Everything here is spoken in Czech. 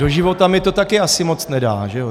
Do života mi to také asi moc nedá, že jo.